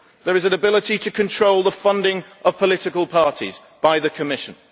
There is an ability to control the funding of political parties by the Commission.